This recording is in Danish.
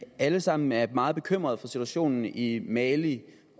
alle sammen er meget bekymrede over situationen i mali